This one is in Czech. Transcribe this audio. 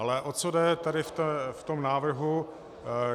Ale o co jde tady v tom návrhu.